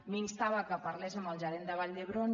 m’instava que parlés amb el gerent de vall d’hebron